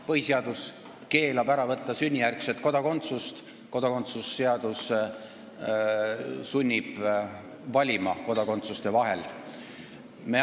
Põhiseadus keelab ära võtta sünnijärgset kodakondsust, kodakondsuse seadus sunnib valima kodakondsuste vahel.